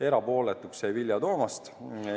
Erapooletuks jäi Vilja Toomast.